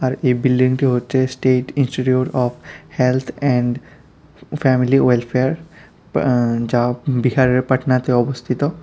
এই বিল্ডিংটি হচ্ছে state institute of health and family welfare ব যা বিহারের পাটনাতে অবস্থিত।